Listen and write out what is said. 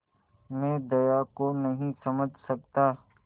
मैं दया को नहीं समझ सकता